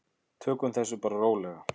Tökum því bara rólega.